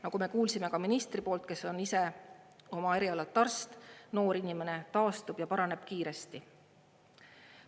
Nagu me kuulsime ministri poolt, kes on ise oma erialalt arst, noor inimene taastub ja paraneb kiiresti.